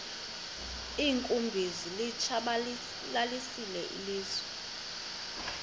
iinkumbi zilitshabalalisile ilizwe